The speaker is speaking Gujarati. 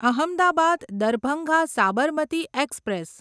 અહમદાબાદ દરભંગા સાબરમતી એક્સપ્રેસ